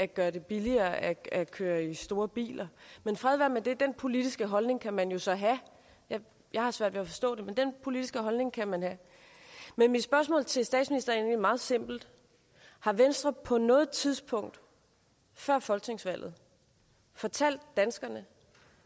gøre det billigere at at køre i store biler men fred være med det den politiske holdning kan man jo så have jeg har svært ved at forstå det men den politiske holdning kan man have mit spørgsmål til statsministeren meget simpelt har venstre på noget tidspunkt før folketingsvalget fortalt danskerne